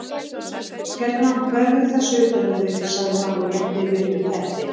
Hérna vefðu þessu utan um þig sagði hann og rétti Lillu teppi.